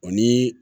O ni